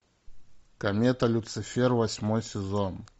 комета люцифера восьмой сезон